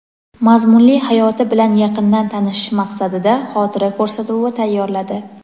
mazmunli hayoti bilan yaqindan tanishish maqsadida xotira ko‘rsatuvi tayyorladi.